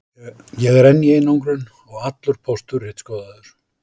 Ég er enn í einangrun og allur póstur ritskoðaður.